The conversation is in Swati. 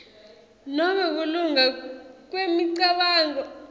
nobe kulunga kwemicabango